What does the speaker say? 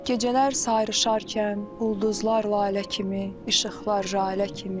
Gecələr sayrışarkən ulduzlar lalə kimi, işıqlar jalə kimi.